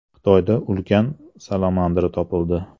Xitoyda ulkan salamandra topildi.